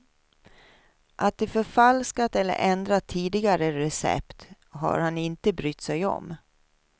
Att de förfalskat eller ändrat tidigare recept har han inte brytt sig om.